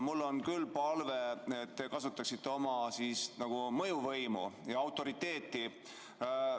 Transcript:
Mul on küll palve, et te kasutaksite oma mõjuvõimu ja autoriteeti.